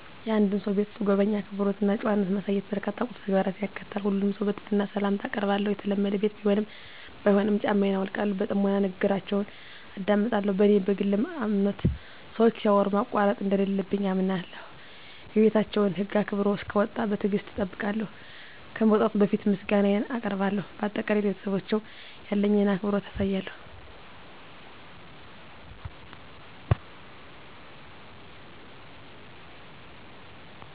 የአንድን ሰው ቤት ስጎበኝ፣ አክብሮት እና ጨዋነት ማሳየት በርካታ ቁልፍ ተግባራትን ያካትታል። ሁሉንም ሰው በትህትና ሰላምታ አአቀርባለሁ፣ የተለመደ ቤት ቢሆንም ባይሆንም ጫማየን አውልቃለሁ። በጥሞና ንግግራችውን አደምጣለሁ፣ በኔ በግል አምነት ሰወች ሲያወሩ ማቋረጥ እንደለለብኝ አምነለሁ። የቤታቸውን ህግ አክብሮ እሰክወጣ በትግሰት እጠብቃለሁ፣ ከመውጣቴ በፈት ምሰጋነየን አቀርባለሁ በአጠቃላይ፣ ለቤተሰባቸው ያለኝን አክብሮት አሳያለሁ።